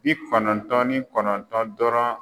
Bi kɔnɔntɔn ni kɔnɔntɔn dɔrɔn